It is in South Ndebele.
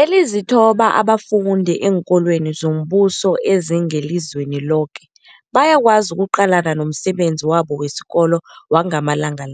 Ezilithoba abafunda eenkolweni zombuso ezingelizweni loke bayakwazi ukuqalana nomsebenzi wabo wesikolo wangamalanga.